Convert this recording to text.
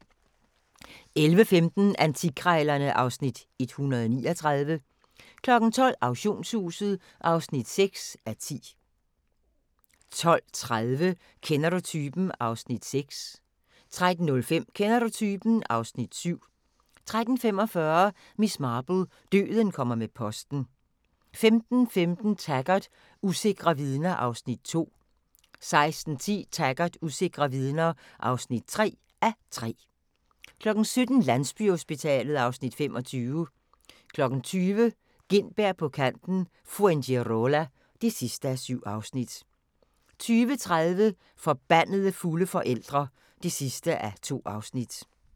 11:15: Antikkrejlerne (Afs. 139) 12:00: Auktionshuset (6:10) 12:30: Kender du typen? (Afs. 6) 13:05: Kender du typen? (Afs. 7) 13:45: Miss Marple: Døden kommer med posten 15:15: Taggart: Usikre vidner (2:3) 16:10: Taggart: Usikre vidner (3:3) 17:00: Landsbyhospitalet (Afs. 25) 20:00: Gintberg på Kanten – Fuengirola (7:7) 20:30: Forbandede fulde forældre (2:2)